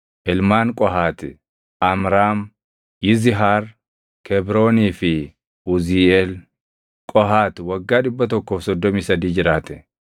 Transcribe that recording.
Ilmaan Qohaati: Amraam, Yizihaar, Kebroonii fi Uziiʼeel. Qohaati waggaa 133 jiraate.